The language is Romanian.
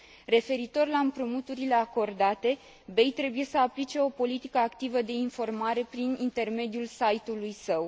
Referitor la împrumuturile acordate, BEI trebuie să aplice o politică activă de informare prin intermediul site ului său.